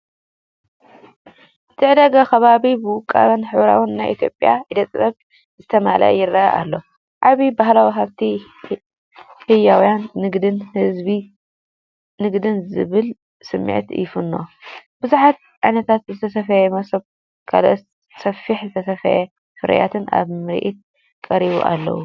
እቲ ዕዳጋ ከባቢ ብውቁብን ሕብራዊን ናይ ኢትዮጵያ ኢደ ጥበብ ዝተመልአ ይረአ ኣሎ፣! ዓቢ ባህላዊ ሃብትን ህያው ንግድን ዝብል ስምዒት ይፍንው! ብዙሓት ዓይነታት ዝተሰፍዩ መሶብን ካልኦት ጸፍሒ ዝተሰፍዩ ፍርያትን ኣብ ምርኢት ቀሪቦም ኣለዉ።